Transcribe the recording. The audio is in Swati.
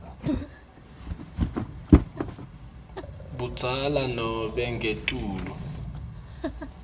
budzala nobe ngetulu